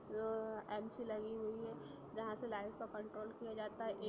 MC लगी हुई हैं जहा से लाइट का कंटरों किया जाता हैं| एक --